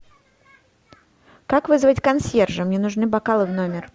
как вызвать консьержа мне нужны бокалы в номер